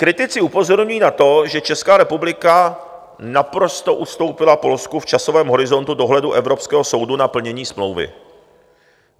Kritici upozorňují na to, že Česká republika naprosto ustoupila Polsku v časovém horizontu dohledu evropského soudu na plnění smlouvy.